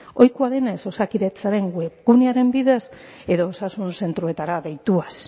ohikoa denez osakidetzaren webgunearen bidez edo osasun zentroetara deituaz